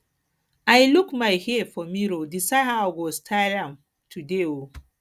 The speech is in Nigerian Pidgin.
i look my hair for mirror decide how i go style am today um